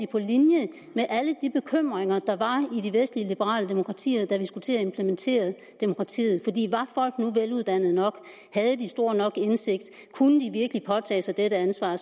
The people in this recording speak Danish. på linje med alle de bekymringer der var i de vestlige liberale demokratier da vi skulle til at implementere demokratiet var folk nu veluddannede nok havde de stor nok indsigt kunne de virkelig påtage sig dette ansvar